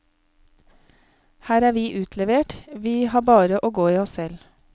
Her er vi utlevert, vi har bare å gå i oss selv.